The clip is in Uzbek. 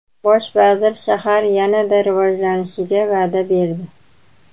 Bosh vazir shahar yanada rivojlanishiga va’da berdi.